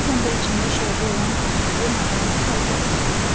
Bəzən də içində şorba olan boşqabı narazı halda itələyirdi.